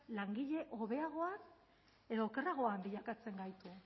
langile hobeagoa edo okerragoan bilakatzen gaitu